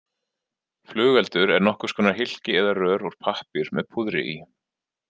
Flugeldur er nokkurs konar hylki eða rör úr pappír með púðri í.